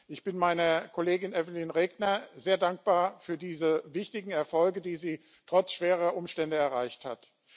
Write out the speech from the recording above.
Ich bin meiner Kollegin Evelyn Regner sehr dankbar für diese wichtigen Erfolge, die sie trotz schwerer Umstände erreicht hat.